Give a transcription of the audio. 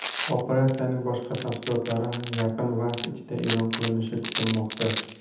Operatsiyaning boshqa tafsilotlari yaqin vaqt ichida e’lon qilinishi kutilmoqda.